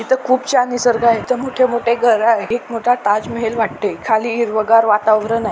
इथं खुप छान निसर्ग आहे. मोठे मोठे घर आहे. एक मोठा ताजमहल वाटते. खाली हिरवगार वातावरण आहे.